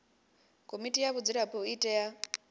komiti ya vhadzulapo i tea